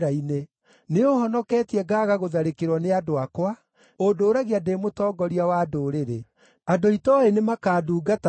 “Nĩũũhonoketie ngaaga gũtharĩkĩrwo nĩ andũ akwa; ũndũũragia ndĩ mũtongoria wa ndũrĩrĩ. Andũ itooĩ nĩmakandungatagĩra,